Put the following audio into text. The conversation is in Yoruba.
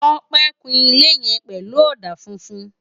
Tope n kún ilé yèn pèlú òdá fúfún